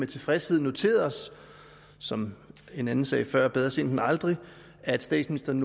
tilfredshed noteret os som en anden sagde før bedre sent end aldrig at statsministeren